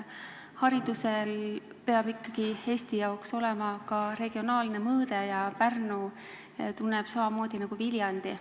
Haridusel peab tõesti Eesti jaoks olema ka regionaalne mõõde ja Pärnu tunneb samamoodi nagu Viljandi.